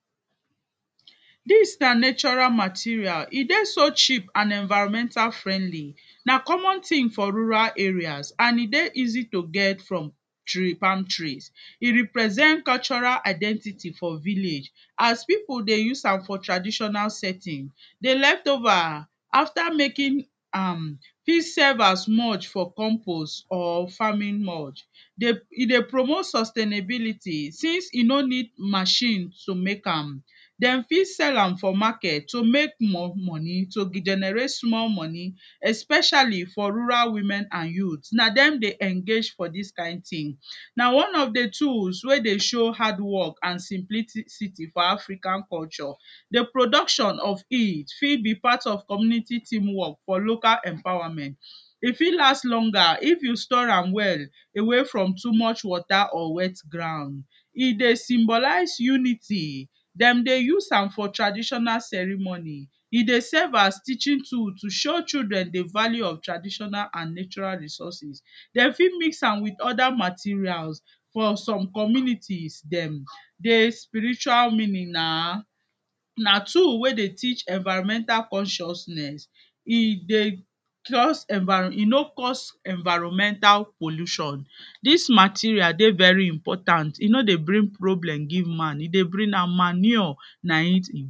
Dis na natural material, e dey so cheap and environmental friendly na common tin for rural areas and e dey easy to get from tree palm tree, e represent cultural identity for village as pipu dey use am for traditional setting, di leftover after making am fit serve as mould for compose or farming mould, e dey promote sustainability since e no need machine to make am, dem fit sell am for market to make more money to regenerate small money especially for rural women and youth na dem dey engage for dis kind tin na one of di tools wey dey show hard work and simplicity for African culture, di production of it fit be part of community team work for local empowerment, e fit last longer if you store am well away from too much water or wet ground. E dey symbolizes unity, dem dey use am for traditional ceremony e dey serve as teaching tool to show children di value of traditional and natural resources, dem fit miss am with oda materials for some communities dem di spiritual meaning na, na tool wey dey teach environmental consciousness, e dey cos, e no cos environmental pollution, dis material dey very important e no dey bring problem give man e dey bring na manure.